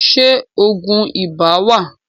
Ṣé Ògùn ibà wà?